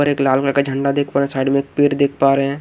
ऊपर एक लाल झण्डा देख पा रहे हैं साइड में एक पेड देख पा रहे हैं।